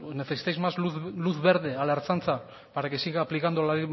necesitáis más luz verde a la ertzaintza para que siga aplicando la